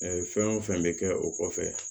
fɛn o fɛn bɛ kɛ o kɔfɛ